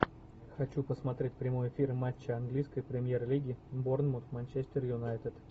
хочу посмотреть прямой эфир матча английской премьер лиги борнмут манчестер юнайтед